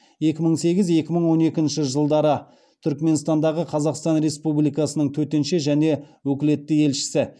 екі мың сегіз екі мың он екінші жылдары түрікменстандағы қазақстан республикасының төтенше және өкілетті елшісі